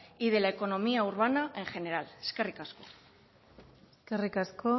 y de la economía urbana en general eskerrik asko eskerrik asko